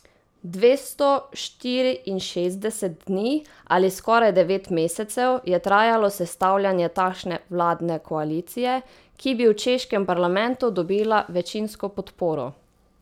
Dvesto štiriinšestdeset dni ali skoraj devet mesecev je trajalo sestavljanje takšne vladne koalicije, ki bi v češkem parlamentu dobila večinsko podporo.